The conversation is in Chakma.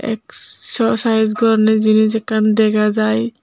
exsocise gorne jenis ekan degajai.